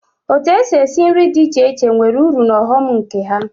Otu èsị́ esi nri dị iche iche nwere ụrụ na ọghọm nke ha.